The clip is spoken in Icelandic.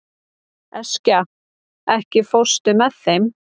Eskja, ekki fórstu með þeim?